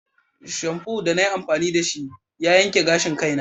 Shamfu da na yi amfani da shi ya yanke gashin kaina.